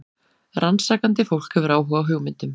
Rannsakandi fólk hefur áhuga á hugmyndum.